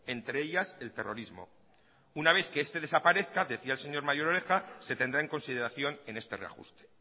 entre ellas el terrorismo una vez que este desaparezca decía el señor mayor oreja se tendrá en consideración en este reajuste